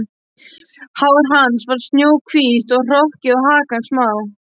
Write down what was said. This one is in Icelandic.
Hár hans var snjóhvítt og hrokkið og hakan smá.